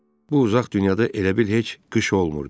Bu uzaq dünyada elə bil heç qış olmurdu.